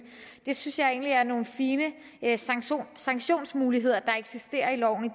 jeg synes egentlig det er nogle fine sanktionsmuligheder der eksisterer i loven i